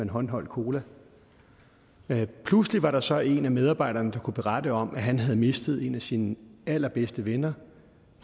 håndholdt cola pludselig var der så en af medarbejderne der kunne berette om at han havde mistet en af sine allerbedste venner